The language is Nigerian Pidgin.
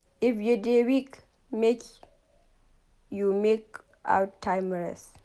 If you dey weak make you make out time rest.